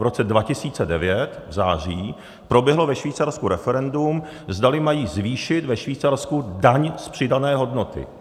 V roce 2009 v září proběhlo ve Švýcarsku referendum, zdali mají zvýšit ve Švýcarsku daň z přidané hodnoty.